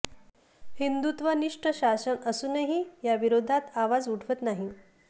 हिंदुत्वनिष्ठ शासन असूनही या विरोधात आवाज उठवत नाही